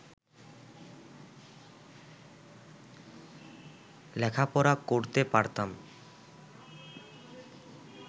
লেখাপড়া করতে পারতাম